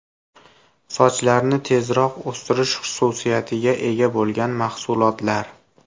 Sochlarni tezroq o‘stirish xususiyatiga ega bo‘lgan mahsulotlar.